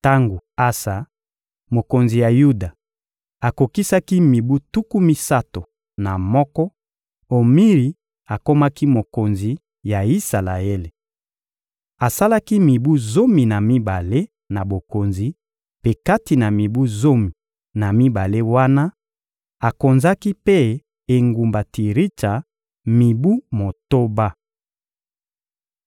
Tango Asa, mokonzi ya Yuda, akokisaki mibu tuku misato na moko, Omiri akomaki mokonzi ya Isalaele. Asalaki mibu zomi na mibale na bokonzi, mpe kati na mibu zomi na mibale wana, akonzaki mpe engumba Tiritsa mibu motoba.